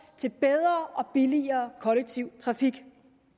til bedre og billigere kollektiv trafik